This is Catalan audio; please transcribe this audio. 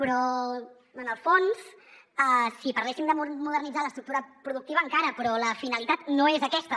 però en el fons si parléssim de modernitzar l’estructura productiva encara però la finalitat no és aquesta